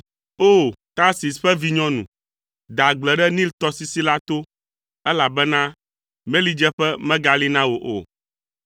O! Tarsis ƒe vinyɔnu, de agble ɖe Nil tɔsisi la to, elabena melidzeƒe megali na wò o.